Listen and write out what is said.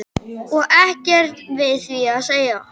Og ekkert við því að segja.